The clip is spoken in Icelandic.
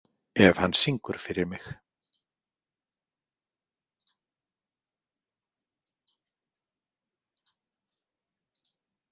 Ef hann syngur fyrir mig.